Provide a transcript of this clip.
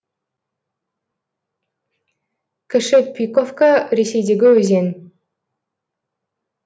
кіші пиковка ресейдегі өзен